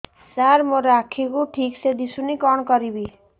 ସାର ମୋର ଆଖି କୁ ଠିକସେ ଦିଶୁନି କଣ କରିବି